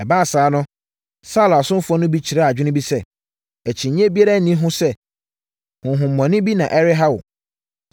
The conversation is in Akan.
Ɛbaa saa no, Saulo asomfoɔ no bi kyerɛɛ adwene bi sɛ, “Akyinnyeɛ biara nni ho sɛ honhommɔne bi na ɛreha wo.